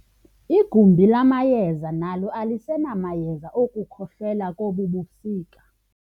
Igumbi lamayeza nalo alisenamayeza okukhohlela kobu busika.